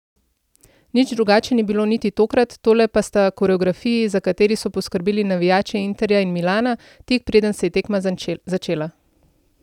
Nič drugače ni bilo niti tokrat, tole pa sta koreografiji, za kateri so poskrbeli navijači Interja in Milana, tik preden se je tekma začela.